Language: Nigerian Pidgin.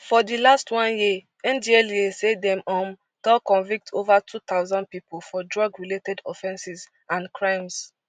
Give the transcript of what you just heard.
for di last one year ndlea say dem um don convict ova two thousand pipo for drug related offences and crimes